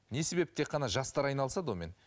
не себеп тек қана жастар айналысады онымен